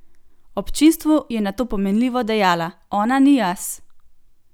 Občinstvu je nato pomenljivo dejala: "Ona ni jaz!